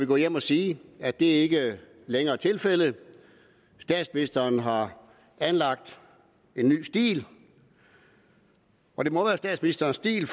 gå hjem og sige at det ikke længere er tilfældet statsministeren har anlagt en ny stil og det må være statsministerens stil